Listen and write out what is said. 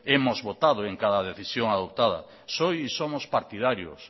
hemos votado en cada decisión adoptada soy y somos partidarios